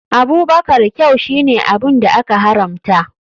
Abubakar kyau shine abun da aka haramta.